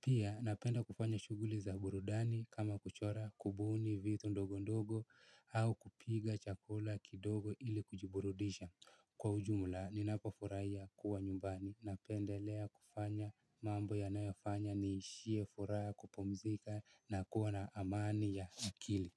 Pia napenda kufanya shughuli za burudani kama kuchora kubuni vitu ndogo ndogo au kupika chakula kidogo ili kujiburudisha. Kwa ujumla ninapofurahia kuwa nyumbani napendelea kufanya mambo yanayofanya niishie furaha ya kupumzika na kuwa na amani ya akili.